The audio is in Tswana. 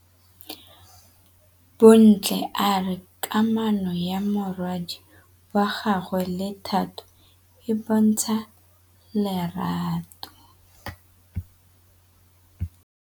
Bontle a re kamanô ya morwadi wa gagwe le Thato e bontsha lerato.